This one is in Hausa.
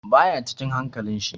Baya cikin hankalin shi.